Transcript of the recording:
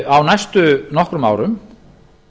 á næstu nokkrum árum